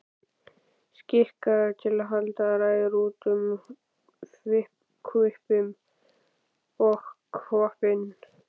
Skikkaður til að halda ræður út um hvippinn og hvappinn.